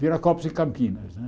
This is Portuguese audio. Viracopos e Campinas, né?